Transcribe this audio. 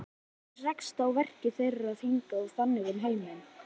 Maður rekst á verk þeirra hingað og þangað um heiminn.